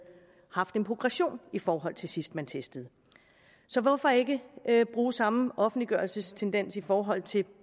haft en progression i forhold til sidst man testede så hvorfor ikke bruge samme offentliggørelsestendens i forhold til